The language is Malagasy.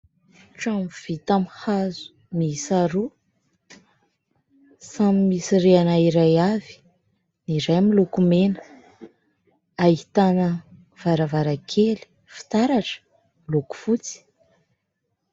Trano vita amin'ny hazo miisa roa, samy misy rihana iray avy. Ny iray miloko mena, ahitana varavarankely fitaratra, miloko fotsy.